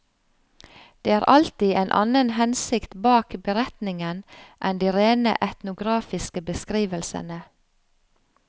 Det er alltid en annen hensikt bak beretningen enn de rene etnografiske beskrivelsene.